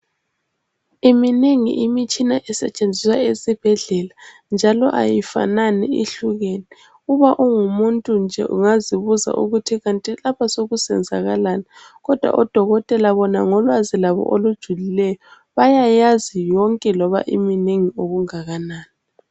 Iminengi imitshina esetshenziswa esibhedlela njalo ayifanani ihlukene. Uma ungumuntu nje ungazibuza ukuthi kanti lapha sikusenzakalani kodwa odokotela bona ngolwazi lwabo olujulileyo bayayazi yonke loba iminengi okungakanani.